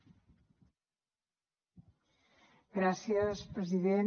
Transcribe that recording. gràcies president